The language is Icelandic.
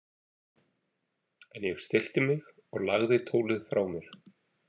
En ég stillti mig og lagði tólið frá mér.